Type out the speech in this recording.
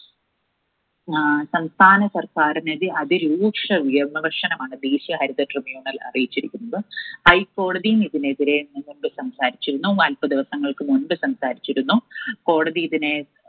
അഹ് സംസ്ഥാനസർക്കാരിനെതിരെ അതിരൂക്ഷ വിമർശനമാണ് ദേശീയ ഹരിത Tribunal അറിയിച്ചിരിക്കുന്നത്. ഹൈക്കോടതിയും ഇതിനെതിരെ സംസാരിച്ചിരുന്നു. നാൽപ്പത് ദിവസങ്ങൾക്കു മുൻപ് സംസാരിച്ചിരുന്നു. കോടതി ഇതിനെ